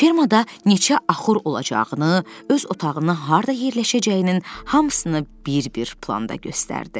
Fermada neçə axur olacağını, öz otağının harda yerləşəcəyinin hamısını bir-bir planda göstərdi.